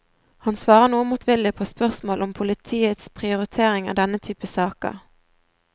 Han svarer noe motvillig på spørsmål om politiets prioritering av denne typen saker.